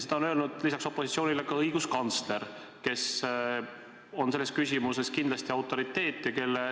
Seda on öelnud lisaks opositsioonile ka õiguskantsler, kes on selles küsimuses kindlasti autoriteet.